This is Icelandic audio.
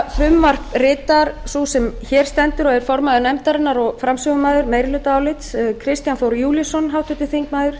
nefndarálit ritar sú sem hér stendur og er formaður nefndarinnar og framsögumaður meirihlutaálits háttvirtir þingmenn